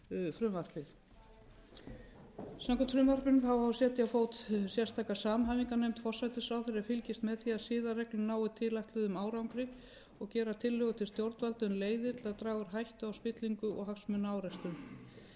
frumvarpið samkvæmt frumvarpinu á að setja á fót sérstaka samhæfingarnefnd forsætisráðherra sem fylgist með því að siðareglur nái tilætluðum árangri og gera tillögu til stjórnvalda um leiðir til að draga úr hættu á spillingu og hagsmunaárekstrum